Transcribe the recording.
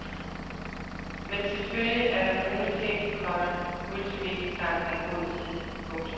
Men selvfølgelig er der nogle ting, komma multimedietanken er god til. punktum